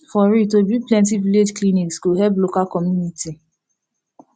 for real to build plenti village clinics go help local community